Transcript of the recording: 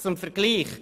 Zum Vergleich: